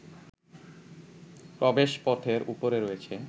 প্রবেশপথের উপরে রয়েছে